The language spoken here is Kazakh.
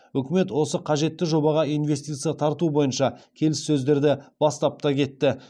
үкімет осы қажетті жобаға инвестиция тарту бойынша келіссөздерді бастап та кетті